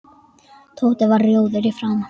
Tóti varð rjóður í framan.